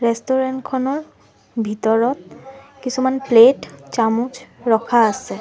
Restaurant খনৰ ভিতৰত কিছুমান প্লেট ৰখা আছে।